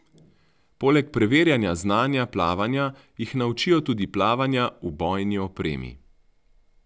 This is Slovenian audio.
Poleg preverjanja znanja plavanja jih naučijo tudi plavanja v bojni opremi.